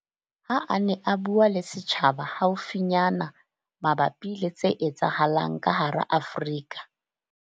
Ha a ne a bua le setjhaba haufinyana mabapi le tse etsahalang ka hara Afrika.